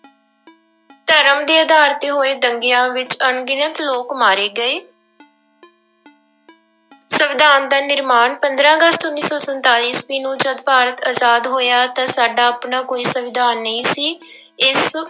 ਧਰਮ ਦੇ ਆਧਾਰ ਤੇ ਹੋਏ ਦੰਗਿਆਂ ਵਿੱਚ ਅਣਗਿਣਤ ਲੋਕ ਮਾਰੇ ਗਏ ਸੰਵਿਧਾਨ ਦਾ ਨਿਰਮਾਣ, ਪੰਦਰਾਂ ਅਗਸਤ ਉੱਨੀ ਸੌ ਸੰਤਾਲੀ ਈਸਵੀ ਨੂੰ ਜਦ ਭਾਰਤ ਆਜ਼ਾਦ ਹੋਇਆ ਤਾਂ ਸਾਡਾ ਆਪਣਾ ਕੋਈ ਸੰਵਿਧਾਨ ਨਹੀਂ ਸੀ ਇਸ